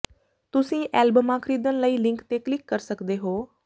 ਤੁਸੀਂ ਐਲਬਮਾਂ ਖਰੀਦਣ ਲਈ ਲਿੰਕ ਤੇ ਕਲਿੱਕ ਕਰ ਸਕਦੇ ਹੋ